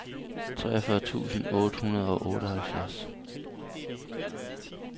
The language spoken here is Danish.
treogfyrre tusind otte hundrede og otteoghalvfjerds